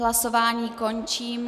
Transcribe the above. Hlasování končím.